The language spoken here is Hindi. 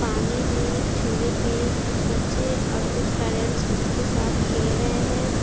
पानी में झूले पे कुछ बच्चे और कुछ पेरेंट्स उसके साथ खेल रहे है।